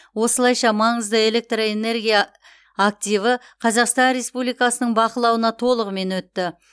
осылайша маңызды электрэнергия активі қазақстан республикасының бақылауына толығымен өтті